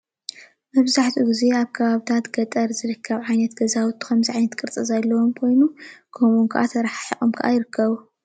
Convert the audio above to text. መብዛሕኡ ግዜ ኣብ ከባብታት ገጠር ዝርከብ ዓይነታት ገዛውቲ ከምዚ ዓይነት ቅርፂ ዘለዎ ኮይኖም ከመኡ ክዓ ተረሓሒቆም ይርከቡ።